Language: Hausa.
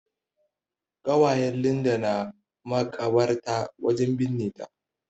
ƙawayen Linda na makabarta wajen binne ta.